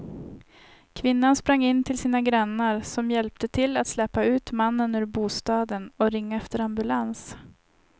Kvinnan sprang in till sina grannar som hjälpte till att släpa ut mannen ur bostaden och ringa efter ambulans.